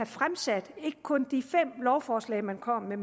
fremsat ikke kun de fem lovforslag man kom med